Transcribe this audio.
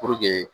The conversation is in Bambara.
Puruke